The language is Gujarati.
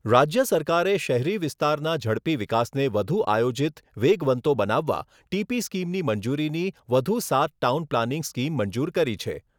રાજ્ય સરકારે શહેરી વિસ્તારના ઝડપી વિકાસને વધુ આયોજિત વેગવંતો બનાવવા ટીપી સ્કીમની મંજૂરીની વધુ સાત ટાઉન પ્લાનીંગ સ્કીમ મંજૂર કરી છે.